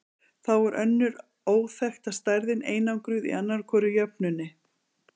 Þá er önnur óþekkta stærðin einangruð í annarri hvorri jöfnunni.